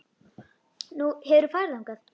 Nú, hefurðu farið þangað?